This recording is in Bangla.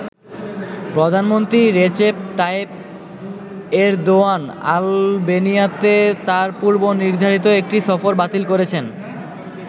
প্রধানমন্ত্রী রেচেপ তাইপ এরদোয়ান আলবেনিয়াতে তার পূর্ব-নির্ধারিত একটি সফর বাতিল করেছেন।